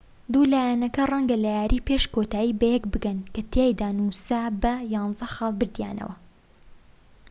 دوو لایەنەکە ڕەنگە لە یاری پێش کۆتایی بەیەک بگەن کە تیایدا نووسا بە 11 خاڵ بردیانەوە